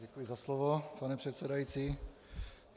Děkuji za slovo, pane předsedající.